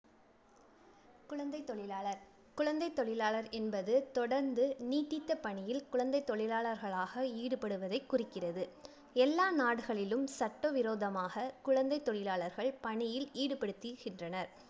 குழந்தைத் தொழிலாளர் குழந்தைத் தொழிலாளர் என்பது தொடர்ந்து, நீட்டித்த பணியில் குழந்தை தொழிலாளர்களாக ஈடுபடுவதைக் குறிக்கிறது. எல்லா நாடுகளிலும் சட்டவிரோதமாக குழந்தைத் தொழிலாளர்கள் பணியில் ஈடுபடுத்திகின்றனர்.